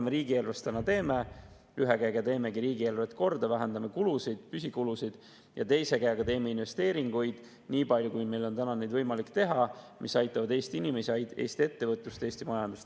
Nüüd me teemegi ühe käega riigieelarvet korda, vähendame riigieelarves kulusid, püsikulusid ja teise käega teeme investeeringuid – nii palju kui meil on neid võimalik täna teha –, mis aitavad Eesti inimesi, Eesti ettevõtlust ja Eesti majandust.